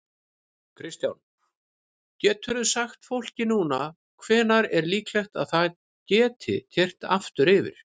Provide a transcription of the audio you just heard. Kristján: Geturðu sagt fólki núna hvenær er líklegt að það geti keyrt aftur yfir?